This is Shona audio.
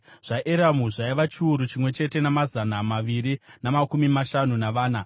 zvaEramu zvaiva chiuru chimwe chete namazana maviri namakumi mashanu navana;